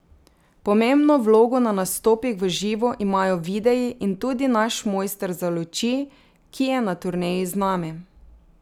Pomembno vlogo na nastopih v živo imajo videi in tudi naš mojster za luči, ki je na turneji z nami.